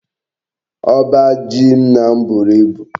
Oba ji nna m buru ibu